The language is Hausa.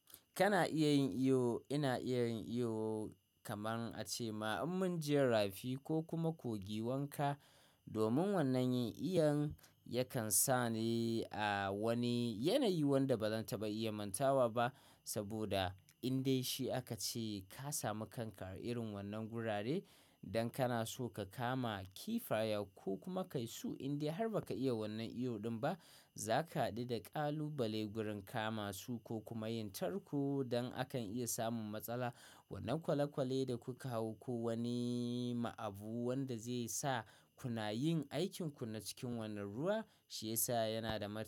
Kana iya yin iyo, ina iya yin iyo kaman a ce ma in mun je rafi ko kuma kogi wanka. Domin wannan yin iyan yakan sa ni a wani yanayi wanda ba zan taɓa iya mantawa ba. Saboda indai shi aka ce ka sami kanka a irin wannan gurare, dan kana so ka kama kifaya ko kuma kai su inda har ba ka iya wannan iyo ɗin ba. Za ka haɗu da ƙalubale gurin kama su ko kuma yin tarko dan akan iya samun matsala. Wannan kwale-kwale da kuka hau ko wani ma abu wanda zai sa kuna yin aikinku na cikin wannan ruwa shi yasa yana da martaba.